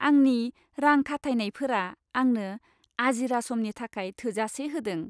आंनि रां खाथायनायफोरा आंनो आजिरा समनि थाखाय थोजासे होदों।